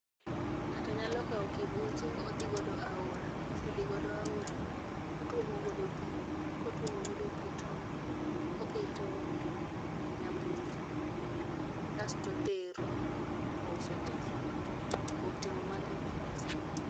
ng'ato nyalo kawo kibuche odhi godo aora, kose dhi godo aora otuomo godo pi, kotuomo godo pi to oketo e nyamburko kasto otero to ouso ne ji kuom timo mano oyudo pesa